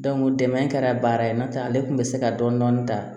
dɛmɛ kɛra baara ye n'o tɛ ale tun bɛ se ka dɔni dɔni ta